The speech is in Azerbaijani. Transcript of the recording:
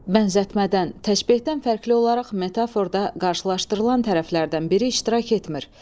Bənzətmədən, təşbehdən fərqli olaraq metaforda qarşılaşdırılan tərəflərdən biri iştirak etmir.